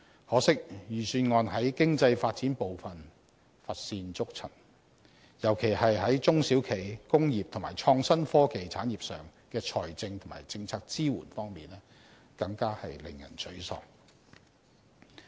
可惜，預算案在經濟發展部分乏善可陳，尤其是在中小企、工業及創新科技產業上的財政及政策支援方面更是令人沮喪。